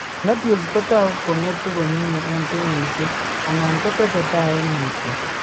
Nodules kotagu kongetu komye en kenyisiek, anan kotestai en mutyo